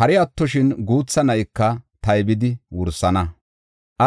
hari attoshin guutha na7ika taybidi wursana.